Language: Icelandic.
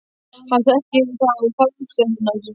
Hann þekkir það á fasi hennar.